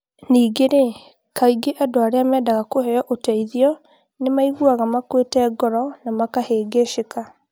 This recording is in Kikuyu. Ningĩ-rĩ, kaingĩ andũ arĩa mendaga kũheo ũteithio nĩ maiguaga makuĩte ngoro na makahĩngĩcĩka